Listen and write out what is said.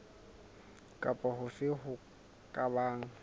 kapa hofe ho ka bang